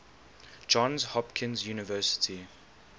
johns hopkins university